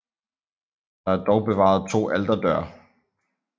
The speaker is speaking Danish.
Der er dog bevaret to alterdøre